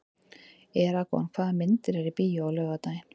Eragon, hvaða myndir eru í bíó á laugardaginn?